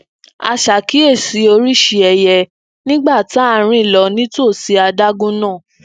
a ṣakiyesi oríṣiríṣi ẹyẹ nígbà tá à ń rìn lọ nítòsí adágún náà